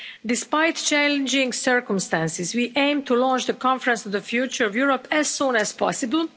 Despite challenging circumstances, we aim to launch the Conference on the Future of Europe as soon as possible.